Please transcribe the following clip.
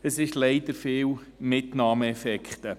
Es sind leider viele Mitnahmeeffekte.